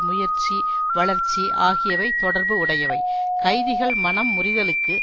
முயற்சி வளர்ச்சி ஆகியவை தொடர்பு உடையவை கைதிகள் மனம் முறிதலுக்கு